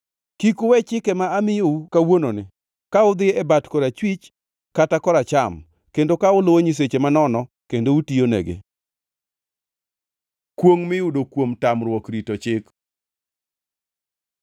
Kik uwe chike ma amiyou kawuononi, ka udhi e bat korachwich kata koracham kendo ka uluwo nyiseche manono kendo utiyonegi. Kwongʼ miyudo kuom tamruok rito chik